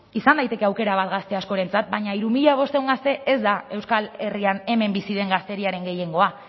izan daiteke aukera bat gazte askorentzat baina hiru mila bostehun gazte ez da euskal herrian hemen bizi den gazteriaren gehiengoa